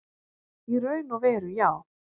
Í raun og veru já.